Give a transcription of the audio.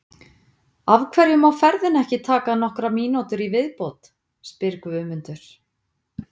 Af hverju má ferðin ekki taka nokkrar mínútur í viðbót? spyr Guðmundur.